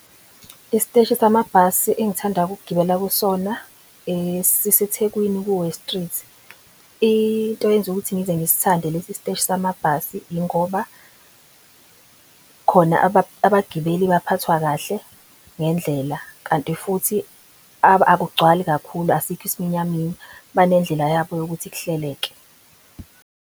Isteshi samabhasi engithanda ukugibela kusona siseThekwini ku-West street. Into eyenza ukuthi ngize ngisthande lesi steshi samabhasi, ingoba khona abagibeli baphathwa kahle ngendlela kanti futhi akugcwali kakhulu. Asikho isiminyaminya banendlela yabo yokuthi kuhleleke.